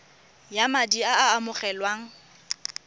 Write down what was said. ya madi a a amogelwang